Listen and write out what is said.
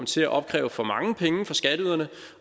til at opkræve for mange penge af skatteyderne